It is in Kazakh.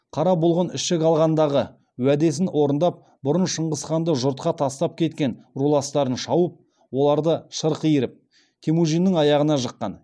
қара бұлғын ішік алғандағы уәдесін орындап бұрын шыңғысханды жұртқа тастап кеткен руластарын шауып оларды шырқ иіріп темужіннің аяғына жыққан